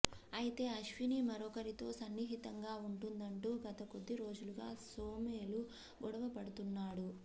అయితే అశ్విని మరొకరితో సన్నిహితంగా ఉంటుందంటూ గత కొద్దిరోజులుగా సోమేలు గొడవ పడుతున్నాడు